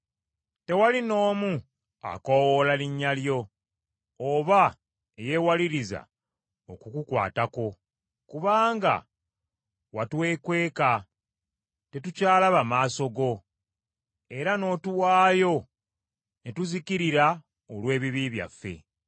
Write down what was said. Tewali n’omu akoowoola linnya lyo oba eyewaliriza okukukwatako, kubanga watwekweka tetukyalaba maaso go, era n’otuwaayo ne tuzikirira olw’ebibi byaffe.